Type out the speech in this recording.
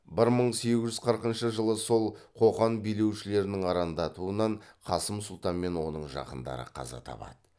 бір мың сегіз жүз қырқыншы жылы сол қоқан билеушілерінің арандатуынан қасым сұлтан мен оның жақындары қаза табады